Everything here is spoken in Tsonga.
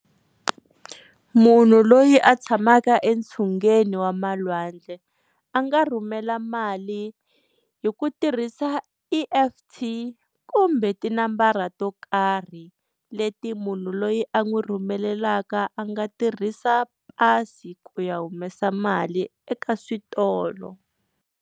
Munhu loyi a tshamaka entsungeni wa malwandle a nga rhumela mali hi ku tirhisa E_F_T kumbe tinambara to karhi leti munhu loyi a n'wi rhumelelaka a nga tirhisa pasi ku ya humesa mali eka switolo.